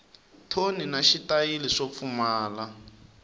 thoni na xitayili swo pfumala